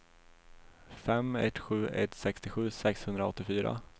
fem ett sju ett sextiosju sexhundraåttiofyra